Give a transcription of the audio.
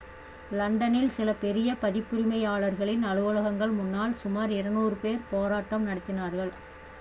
லண்டனில் சில பெரிய பதிப்புரிமையாளர்களின் அலுவலகங்கள் முன்னால் சுமார் 200 பேர் போராட்டம் நடத்தினார்கள்